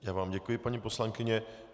Já vám děkuji, paní poslankyně.